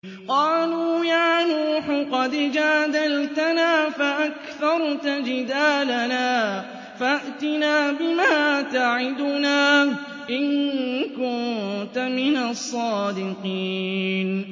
قَالُوا يَا نُوحُ قَدْ جَادَلْتَنَا فَأَكْثَرْتَ جِدَالَنَا فَأْتِنَا بِمَا تَعِدُنَا إِن كُنتَ مِنَ الصَّادِقِينَ